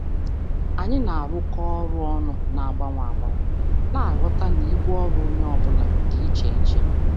Anyị na-arụkọ ọrụ ọnụ na-agbanwe agbanwe, na-aghọta na ibu ọrụ onye ọ bụla dị iche iche.